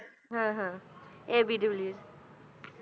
ਹਾਂ ਹਾਂ A B de Villiers